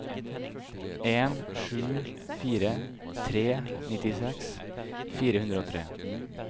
en sju fire tre nittiseks fire hundre og tre